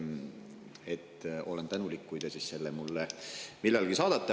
Ma olen tänulik, kui te need mulle millalgi saadate.